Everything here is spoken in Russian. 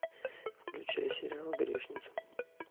включай сериал грешница